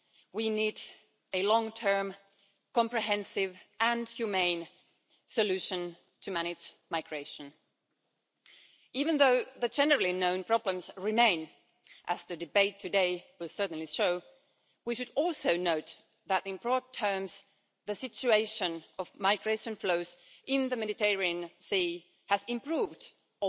We need a long term, comprehensive and humane solution to manage migration. Even though the generally known problems remain, as the debate today will certainly show, we should also note that, in broad terms, the situation of migration flows in the Mediterranean Sea has improved in recent